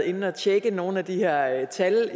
inde at tjekke nogle af de her tal